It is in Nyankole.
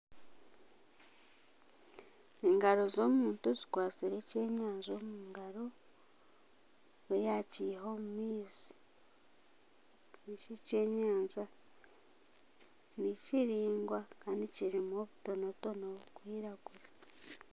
Engaro z'omuntu zikwatsire ekyenyanja omu ngaro, niwe yaakiha omu maizi. Eki ekyenyanja nikiringwa kandi kirimu obutonatone burikwiragura.